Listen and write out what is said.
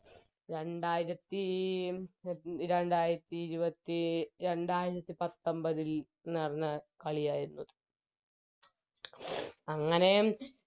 രണ്ടായിരത്തി രണ്ടായിരത്തി ഇരുപത്തി രണ്ടായിരത്തി പത്തൊമ്പതിൽ നടന്ന കളിയാരുന്നു അങ്ങനെ